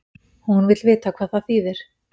Hún vill vita hvað það þýðir.